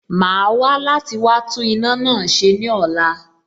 Màá wá láti wá tún iná náà ṣe ní ọ̀la